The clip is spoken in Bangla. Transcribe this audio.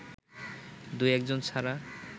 দু-একজন ছাড়া